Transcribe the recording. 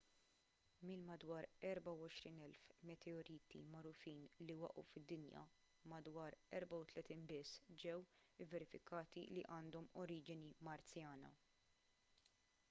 mill-madwar 24,000 meteoriti magħrufin li waqgħu fid-dinja madwar 34 biss ġew ivverifikati li għandhom oriġini marzjana